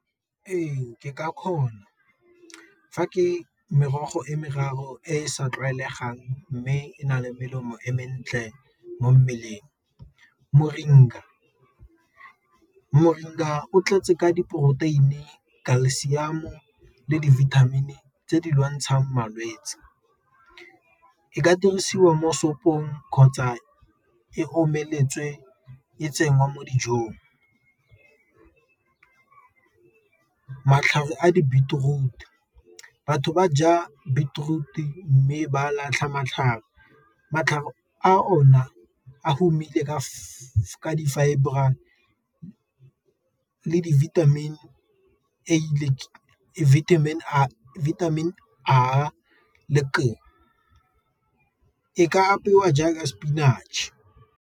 Ee, ke ka kgona fa ke merogo e meraro e sa tlwaelegang mme e na le melemo e mentle mo mmeleng, o tlatse ka diporoteini, calcium le di-vitamin tse di lwantshang malwetsi, e ka dirisiwa mo sopong kgotsa e omeletswe e tsenngwa mo dijong. Matlhare a di beetroot, batho ba ja beetroot-e mme ba latlha matlhare matlhare a ona a romile ka fa di-fibre le vitamin A le K. E ka apeiwa jaaka spinach.